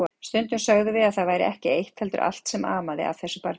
Stundum sögðum við að það væri ekki eitt heldur allt sem amaði að þessu barni.